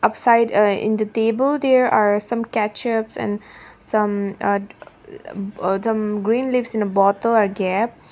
aside uh in the table there are some ketchups and some uh uh some green leaves in a bottle are kept.